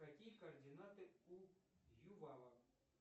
какие координаты у ювава